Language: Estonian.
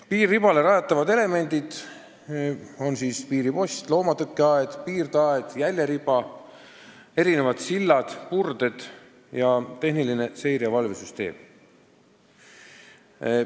Piiriribale rajatavad elemendid on piiripostid, loomatõkkeaed, piirdeaed, jäljeriba, erinevad sillad-purded ning tehniline seire- ja valvesüsteem.